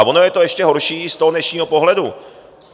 A ono je to ještě horší z toho dnešního pohledu.